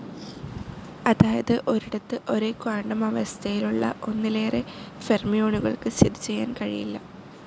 അതായത് ഒരിടത്ത് ഒരേ ക്വാണ്ടം അവസ്ഥയിലുള്ള ഒന്നിലേറെ ഫെർമിയോണുകൾക്ക് സ്ഥിതിചെയ്യാൻ കഴിയില്ല.